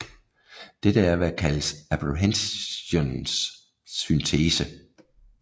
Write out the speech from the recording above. Dette er hvad der kaldes apprehensionens syntese